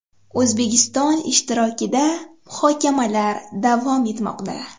O‘zbekiston ishtirokida muhokamalar davom etmoqda.